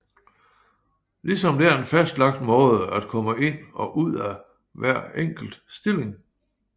Lige som der er en fastlagt måde at komme ind og ud af hver enkelt stilling